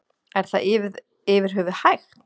Er það yfir höfuð hægt?